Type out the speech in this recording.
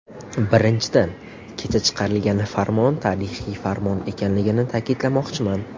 Birinchidan, kecha chiqarilgan farmon tarixiy farmon ekanligini ta’kidlamoqchiman.